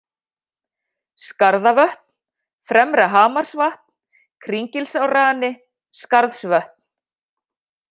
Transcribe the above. Skarðavötn, Fremra-Hamarsvatn, Kringilsárrani, Skarðsvötn